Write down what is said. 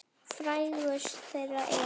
Frægust þeirra er